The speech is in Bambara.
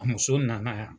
A muso nana yan